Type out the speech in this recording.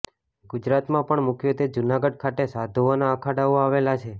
ગુજરાતમાં પણ મુખ્યત્વે જૂનાગઢ ખાતે સાધુઓના અખાડાઓ આવેલા છે